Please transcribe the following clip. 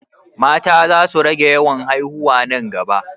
Mata za su rage yawan haiwuna nan gaba?